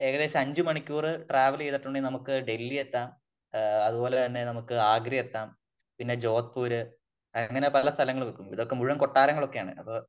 ഏകദേശം അഞ്ച് മണിക്കൂറ് ട്രാവല് ചെയ്തിട്ടുണ്ടെങ്കിൽ നമുക്ക് ഡെൽഹിയെത്താം . അത് പോലെ തന്നെ നമുക്ക് ആഗ്ര എത്താം . പിന്നെ ജോധ്പൂര് അങ്ങനെ പല സ്ഥലങ്ങളും ഇതൊക്കെ മുഴുവൻ കൊട്ടാരങ്ങളും ഒക്കെയാണ്